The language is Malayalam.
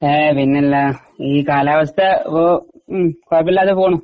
ഏ പിന്നല്ല ഈ കാലാവസ്ഥ ഇപ്പോ ഉം കുഴപ്പമില്ലാതെ പോണു.